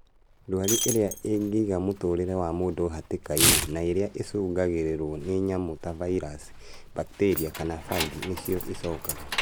Ndwari irĩa ingĩiga mũtũrĩre wa mũndũ hatĩka-inĩ na irĩa icungagĩrũĩĩrio nĩ nyamũ ta vairaci, bakteria, kana fangĩ nĩcio icokaga